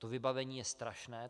To vybavení je strašné.